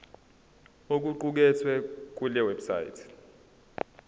okuqukethwe kule website